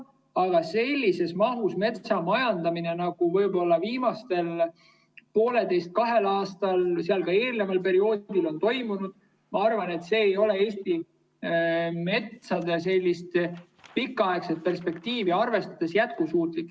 Aga sellises mahus metsamajandamine, nagu võib-olla viimasel poolteisel-kahel aastal, ka eelneval perioodil on toimunud, ma arvan, ei ole Eesti metsa pikaaegset perspektiivi arvestades jätkusuutlik.